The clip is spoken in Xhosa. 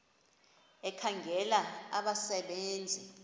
ekhangela abasebe nzi